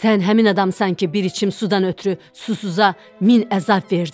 Sən həmin adamsan ki, bir içim sudan ötrü susuza min əzab verdin.